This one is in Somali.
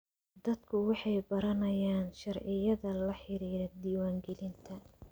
Dadku waxay baranayaan sharciyada la xiriira diiwaangelinta.